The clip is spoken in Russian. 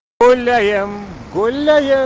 гуляем гуляем